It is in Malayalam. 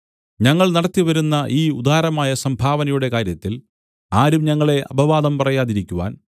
ഞങ്ങൾ നടത്തിവരുന്ന ഈ ഉദാരമായ സംഭാവനയുടെ കാര്യത്തിൽ ആരും ഞങ്ങളെ അപവാദം പറയാതിരിക്കുവാൻ